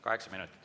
Kaheksa minutit.